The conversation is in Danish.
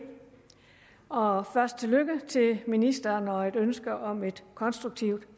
og først tillykke til ministeren og et ønske om et konstruktivt